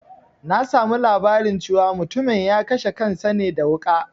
Na samu labari cewa mutumin ya kashe kansa ne da wuƙa